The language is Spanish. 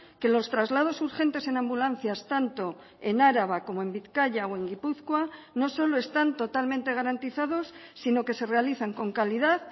que los traslados urgentes en ambulancias tanto en araba como en bizkaia o en gipuzkoa no solo están totalmente garantizados sino que se realizan con calidad